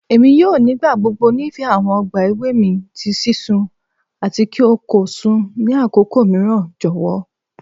Emi yoo nigbagbogbo nifẹ awọn ọgba ewe mi ti sisun ati ki o ko sun ni akoko miiran jọwọ